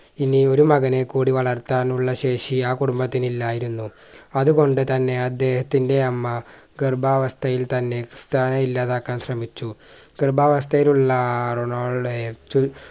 ഇനി ഒരു മകനെ കൂടി വളർത്താനുള്ള ശേഷി ആ കുടുംബത്തിന് ഇല്ലായിരുന്നു. അതുകൊണ്ടുതന്നെ അദ്ദേഹത്തിന്റെ അമ്മ ഗർഭാവസ്ഥയിൽ തന്നെ തന്നെ ഇല്ലാതാക്കാൻ ശ്രമിച്ചു ഗർഭാവസ്ഥയിലുള്ള ആ റൊണാൾഡോയെ